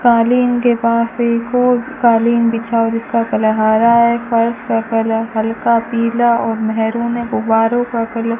कालीन के पास एक और कालीन बिछा हुआ है जिसका कलर हरा है फर्श का कलर हल्का पीला और मैंहरून है गुब्बारों का कलर --